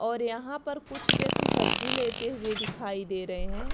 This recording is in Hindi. और यहाँ पर कुछ व्यक्ति सब्जी लेते हुए दिखाई दे रहे है।